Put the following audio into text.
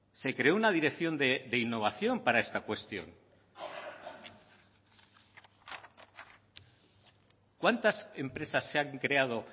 se creó una dirección de innovación para esta cuestión cuántas empresas se han creado